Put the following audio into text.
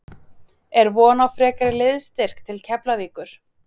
Er von á frekari liðsstyrk til Keflavíkur?